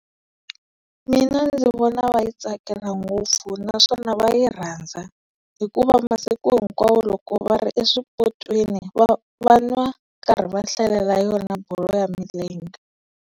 Mina ndzi vona va yi tsakela ngopfu naswona va yi rhandza hikuva masiku hinkwawo loko va ri eswipotsweni va va n'wa va karhi va hlalela yona bolo ya milenge.